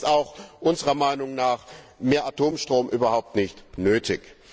Dann ist unserer Meinung nach mehr Atomstrom überhaupt nicht nötig.